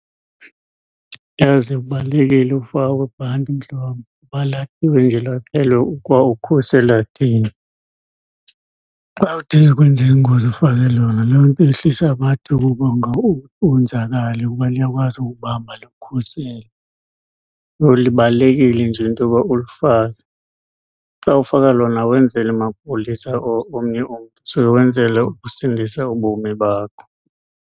Yazi kubalulekile ukufakwa kwebhanti mhlobam, kwaukhusela thina. Xa kuthe kwenzeka ingozi ufake lona loo nto yehlisa amathuba okuba wonzakale kuba liyakwazi ukubamba likukhusele. Yho, libalulekile nje into yoba ulifake. Xa ufaka lona awenzeli amapolisa or omnye umntu, usuke wenzela ukusindisa ubomi bakho.